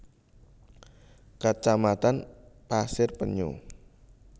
Kecamatan Pasir Penyu